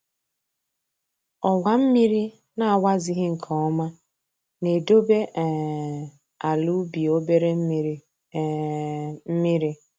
Owa mmiri na-awazighị nke ọma na-edobe um ala ubi obere mmiri um mmiri